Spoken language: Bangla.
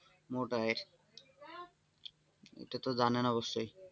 মোট আয়ের এটা তো জানেন অবশ্যই,